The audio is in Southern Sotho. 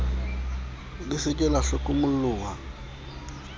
le se ke la hlokomoloha